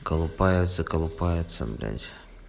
колупается колупается блядь